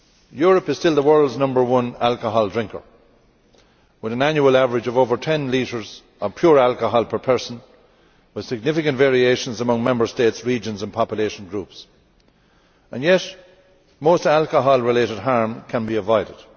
Europe is still the world's number one alcohol drinker, with an annual average of over 10 litres of pure alcohol per person and with significant variation among Member States, regions and population groups, and yet most alcohol related harm can be avoided.